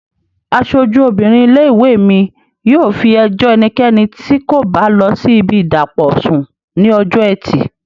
Aṣojú obìnrin ilé-ìwé mi yóò fi ẹjọ́ ẹnikẹ́ni tí kò bá lọ sí ibi ìdàpọ̀ sùn ní ọjọ́ ẹtì